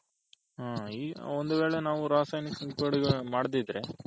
ಒಂದ್ ವೇಳೆ ನಾವು ರಾಸಾಯನಿಕ ಮಾಡ್ದಿದ್ರೆ